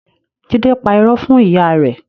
Jide pa ìró fún ìyá rẹ